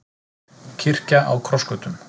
Kirkja á krossgötum